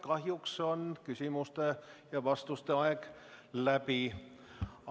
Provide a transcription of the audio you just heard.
Kahjuks on küsimuste ja vastuste aeg läbi.